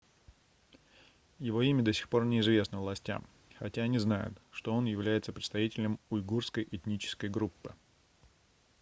его имя до сих пор не известно властям хотя они знают что он является представителем уйгурской этнической группы